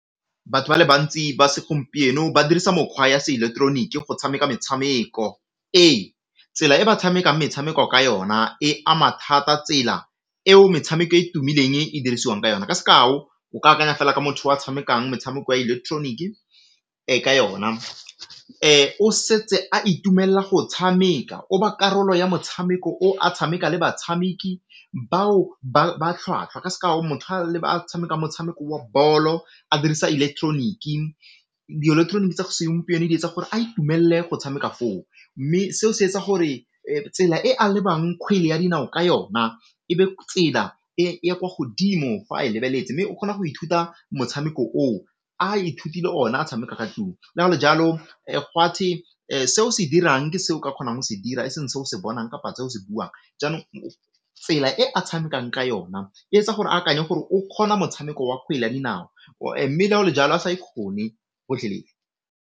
Batho ba le bantsi ba segompieno ba dirisa mokgwa ya seileketeroniki go tshameka metshameko. Ee, tsela e ba tshamekang metshameko ka yona e ama thata tsela eo metshameko e e tumileng e dirisiwang ka yona ka sekao o ka akanya fela ka motho wa tshamekang metshameko ya electronic ka yona o setse a itumella go tshameka o ba karolo ya motshameko o a tshameka le batshameki bao ba ba tlhwatlhwa, ka sekao motho a tshameka motshameko wa bolo a dirisa electronic, di-electronic tsa segompieno di etsa gore a itumelle go tshameka mme seo se etsa gore tsela e a lebang kgwele ya dinao ka yona e be tsela e e ko godimo fa a e lebeletse mme o kgona go ithuta motshameko o a ithutile o na a tshameka ka go le jalo se o se dirang ke se o ka kgonang go se dira e seng se o se bonang kapa se o se buang. Jaanong tsela e a tshamekang ka yona e etsa gore a akanye gore o kgona motshameko wa kgwele ya dinao mme le go le jalo a sa ikgone kgotlhelele.